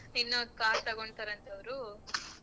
ಇನ್ನೊಂದ್ car ತಗೊಣ್ತರಂತೆ ಅವ್ರು.